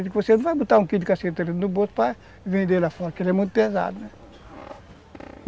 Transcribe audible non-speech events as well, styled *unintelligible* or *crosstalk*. Porque você não vai botar um quilo de *unintelligible* no bolso para vender lá fora, porque ele é muito pesado, né?